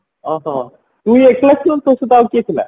ଓହୋ ତୁ ଏକଲା ଥିଲୁ ନା ତୋ ସହିତ ଆଉ କିଏ ଥିଲା